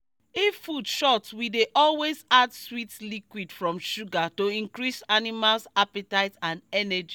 if food short we dey always add sweet liquid from sugar to increase animals appetite and energy